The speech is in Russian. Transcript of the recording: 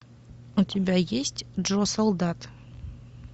у тебя есть джо солдат